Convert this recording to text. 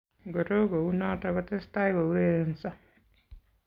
Ngoro kounoto, kotestai kourerenso